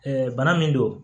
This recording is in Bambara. bana min don